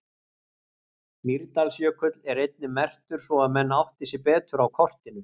Mýrdalsjökull er einnig merktur svo að menn átti sig betur á kortinu.